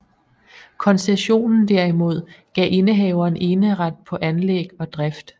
Koncessionen derimod gav indehaveren eneret på anlæg og drift